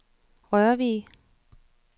Rørvig